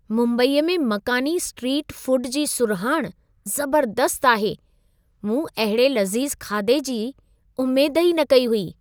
मुंबईअ में मकानी स्ट्रीट फूड जी सुरहाणि ज़बर्दस्तु आहे। मूं अहिड़े लज़ीज़ खाधे जी उमेद ई न कई हुई।